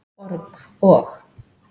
org- og.